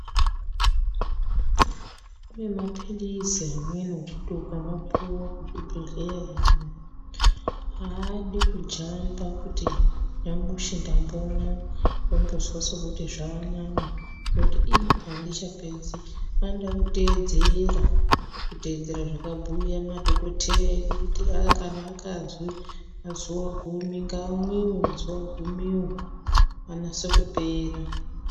Kune mapilizi amweni okuti ukamapuwa kuchibhedhlerayo haadi kujamba kuti nyamushi ndambomwa wombozwa sokuti zvanani woti ii handichapedzi. Anoda kuteedzera kuteedzera zvakabhuya madhoketeya edu kuti kana akazwi mazuwa gumi ngaamwiwe mazuwa gumiwo anase kupera.